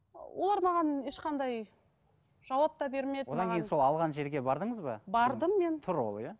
олар маған ешқандай жауап та бермеді одан кейін сол алған жерге бардыңыз ба бардым мен тұр ол иә